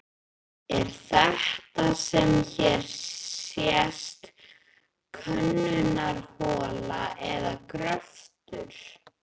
Er þetta sem hér sést könnunarhola eða gröftur?